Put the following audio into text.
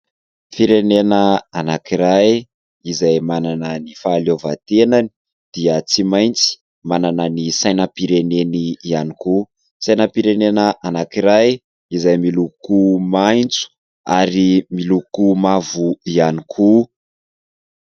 Firenena anankiray izay manana ny fahaleovantenany dia tsy maintsy manana ny sainam-pireneny ihany koa. Sainam-pirenena anankiray izay miloko maitso ary miloko mavo ihany koa.